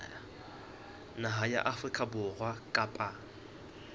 naha ya afrika borwa kapa